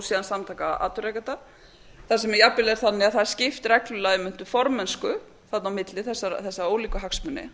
síðan samtaka atvinnurekenda þar sem það er jafnvel þannig að það er skipt reglulega um formennsku þarna á milli þessa ólíku hagsmuni